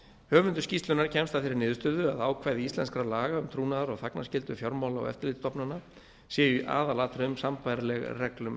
höfundur skýrslunnar kemst að þeirri niðurstöðu að ákvæði íslenskra laga um trúnaðar og þagnarskyldu fjármála og eftirlitsstofnana séu í aðalatriðum sambærileg reglum